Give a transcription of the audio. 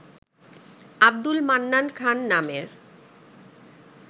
আব্দুল মান্নান খান নামের